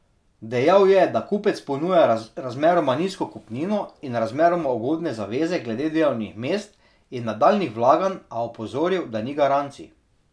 Dejal je, da kupec ponuja razmeroma nizko kupnino in razmeroma ugodne zaveze glede delovnih mest in nadaljnjih vlaganj, a opozoril, da ni garancij.